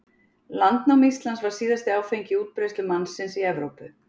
Landnám Íslands var síðasti áfangi í útbreiðslu mannsins í Evrópu.